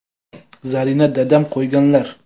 Zarina: Dadam qo‘yganlar.